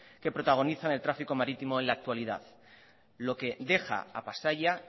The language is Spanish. que protagonizan el tráfico marítimo en la actualidad lo que deja a pasaia